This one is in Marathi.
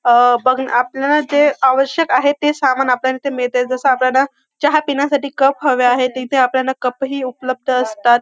अ बघ ना आपणास जे आवश्यक आहे ते सामान आपल्याला इथ मिळत जस आपल्याला चहा पिण्यासाठी कप हवे आहेत तर आपल्याला इथ कप ही उपलब्ध असतात.